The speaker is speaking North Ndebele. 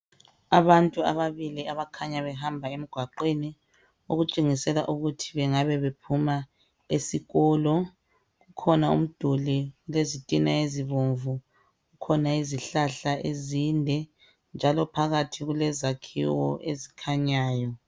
Abantu ababili abakhanya behamba emgwaqweni okutshengisela ukuthi bengabe bephuma esikolo. Kukhona umduli olezitina ezibomvu, kukhona izihlahla ezinde njalo phakathi kulezakhiwo ezikhanyayo.